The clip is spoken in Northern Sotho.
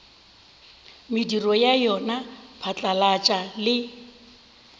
mediro ya yona phatlalatša le